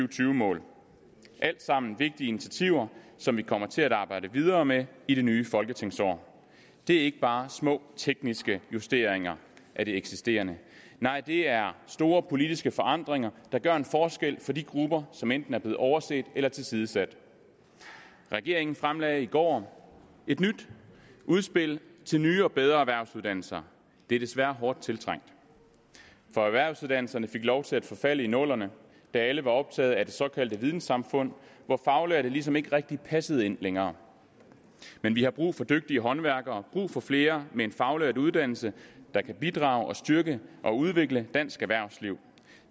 og tyve mål alt sammen vigtige initiativer som vi kommer til at arbejde videre med i det nye folketingsår det er ikke bare små tekniske justeringer af det eksisterende nej det er store politiske forandringer der gør en forskel for de grupper som enten er blevet overset eller tilsidesat regeringen fremlagde i går et nyt udspil til nye og bedre erhvervsuddannelser det er desværre hårdt tiltrængt for erhvervsuddannelserne fik lov til at forfalde i nullerne da alle var optaget af det såkaldte vidensamfund hvor faglærte ligesom ikke rigtig passede ind længere men vi har brug for dygtige håndværkere brug for flere med en faglært uddannelse der kan bidrage styrke og udvikle dansk erhvervsliv